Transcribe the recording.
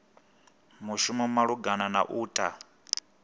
mushumi malugana na u ta